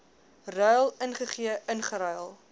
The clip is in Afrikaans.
ruil gegee ingeruil